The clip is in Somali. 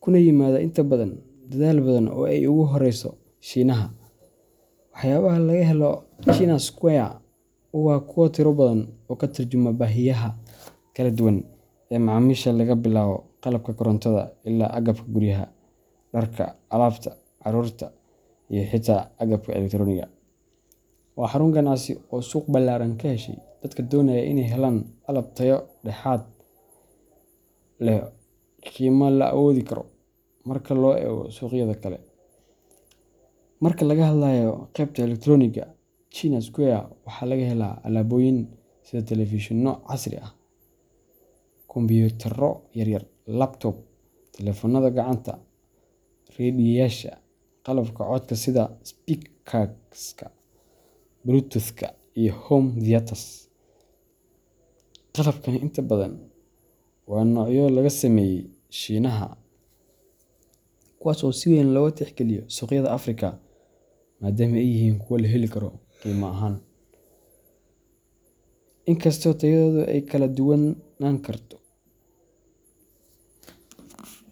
kuna yimaada inta badan dalal badan oo ay ugu horrayso Shiinaha. Waxyaabaha laga helo China Square waa kuwa tiro badan oo ka tarjuma baahiyaha kala duwan ee macaamiisha laga bilaabo qalabka korontada ilaa agabka guryaha, dharka, alaabta carruurta, iyo xitaa agabka elektaroonigga. Waa xarun ganacsi oo suuq ballaaran ka heshay dadka doonaya inay helaan alaab tayo dhexdhexaad ah oo leh qiime la awoodi karo marka loo eego suuqyada kale. Marka laga hadlayo qaybta elektaroonigga, China Square waxaa laga helaa alaabooyin sida telefishinno casri ah, kombiyuutarro yar yar laptops, taleefannada gacanta, raadiyeyaasha, iyo qalabka codka sida speakerska bluetoothka iyo home theatres. Qalabkani inta badan waa noocyo laga sameeyay Shiinaha, kuwaas oo si weyn looga tixgeliyo suuqyada Afrika maadaama ay yihiin kuwo la heli karo qiimo ahaan, inkastoo tayadoodu ay kala duwanaan karto.